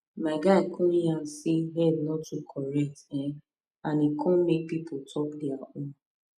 my guy come yarn say head no too correct eh and e come make people talk their own